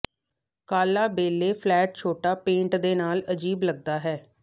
ਕਾਲਾ ballet flat ਛੋਟਾ pant ਦੇ ਨਾਲ ਅਜੀਬ ਲੱਗਦਾ ਹੈ